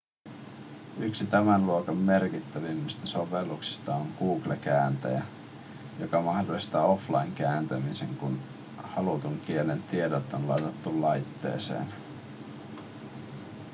yksi tämän luokan merkittävimmistä sovelluksista on google kääntäjä joka mahdollistaa offline-kääntämisen kun halutun kielen tiedot on ladattu laitteeseen